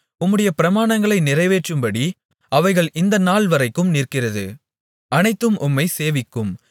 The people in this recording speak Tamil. உம்முடைய பிரமாணங்களை நிறைவேற்றும்படி அவைகள் இந்த நாள்வரைக்கும் நிற்கிறது அனைத்தும் உம்மைச் சேவிக்கும்